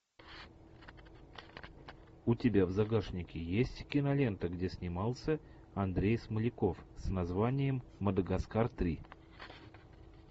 у тебя в загашнике есть кинолента где снимался андрей смоляков с названием мадагаскар три